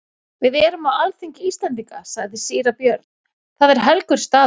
Við erum á alþingi Íslendinga, sagði síra Björn,-það er helgur staður.